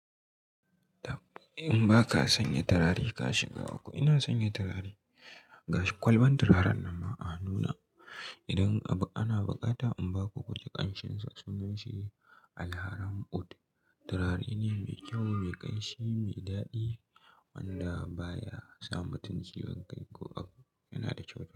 In ba ka sanya turare ka shiga uku, ina sanya turare. Ga shi kwalban turaren nan ma a hannu na. Idan ana bukata in ba ku kuji ƙanshin sa sunan shi alharram Ud. Turare ne mai kyau, mai ƙanshi, mai daɗi wanda baya sa mutum ciwon kai ko abu. Yana da kyau.